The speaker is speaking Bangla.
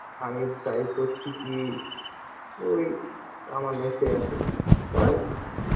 আমি try করছি কি ওই আমার life আসুক পার